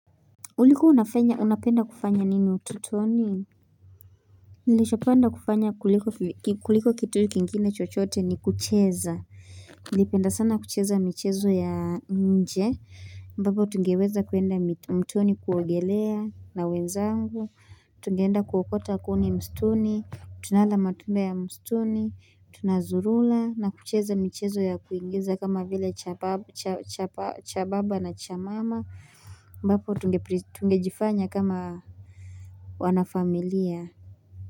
Ulikua unafanya, unapenda kufanya nini utotoni? Nilichopenda kufanya kuliko kitu kingine chochote ni kucheza. Nilipenda sana kucheza michezo ya nje. Ambapo tungeweza kuenda mtoni kuogelea na wenzangu. Tungeenda kuokota kuni mstuni. Tunala matunda ya mstuni. Tunazurura na kucheza michezo ya kuigiza kama vile cha baba na cha mama. Ambapo tungejifanya kama wana familia.